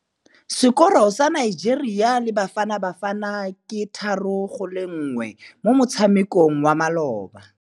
Sekôrô sa Nigeria le Bafanabafana ke 3-1 mo motshamekong wa malôba.